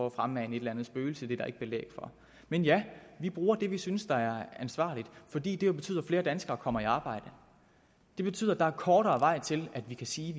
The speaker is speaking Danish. at fremmane et eller andet spøgelse det der ikke belæg for men ja vi bruger det vi synes er ansvarligt fordi det jo betyder at flere danskere kommer i arbejde det betyder at der er kortere vej til at vi kan sige